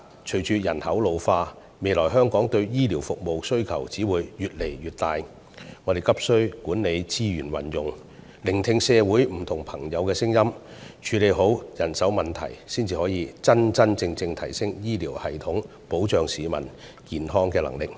隨着人口老化，香港未來對醫療服務的需求只會越來越大，我們急需管理資源的運用，聆聽社會上不同的聲音，處理好人手問題，這樣，我們才能真真正正提升醫療系統保障市民健康的能力。